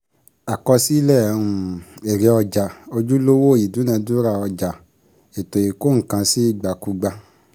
Àkọsílẹ̀ um Èrè Ọjà, ojúlówó ìdúnàdúrà Ọjà ètò ìkó-nǹkan-sí-ìgbàkúgbà